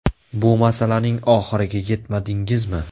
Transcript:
Bu masalaning oxiriga yetmadingizmi?